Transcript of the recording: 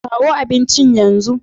Kawo abincin yanzu!